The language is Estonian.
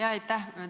Jaa, aitäh!